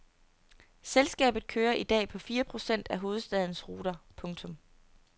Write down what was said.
Selskabet kører i dag på fire procent af hovedstadens ruter. punktum